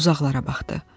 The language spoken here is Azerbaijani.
Uzaqlara baxdı.